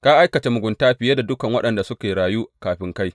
Ka aikata mugunta fiye da dukan waɗanda suka rayu kafin kai.